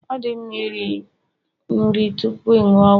Ọ dị mma iri nri tupu ịṅụ ọgwụ